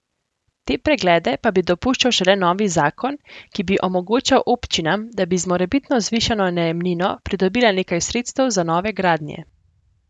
Te preglede pa bi dopuščal šele novi zakon, ki bi omogočal občinam, da bi z morebitno zvišano najemnino pridobile nekaj sredstev za nove gradnje.